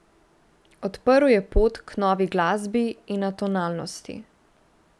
Odprl je pot k novi glasbi in atonalnosti.